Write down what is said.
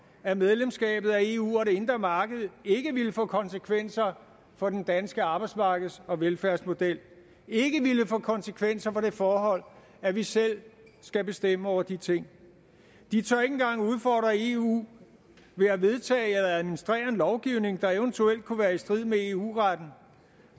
at medlemskabet af eu og det indre marked ikke ville få konsekvenser for den danske arbejdsmarkeds og velfærdsmodel ikke ville få konsekvenser for det forhold at vi selv skal bestemme over de ting de tør ikke engang udfordre eu ved at vedtage eller administrere en lovgivning der eventuelt kunne være i strid med eu retten